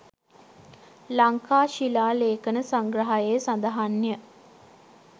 ලංකා ශිලාලේඛන සංග්‍රහයේ සඳහන් ය.